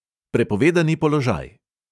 Prepovedani položaj!